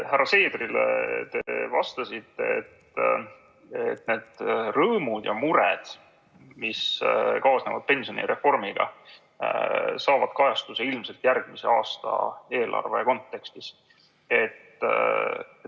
Härra Seedrile te vastasite, et rõõmud ja mured, mis kaasnevad pensionireformiga, saavad kajastuse ilmselt järgmise aasta eelarve kontekstis.